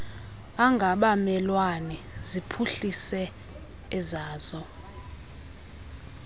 angabamelwane ziphuhlise ezazo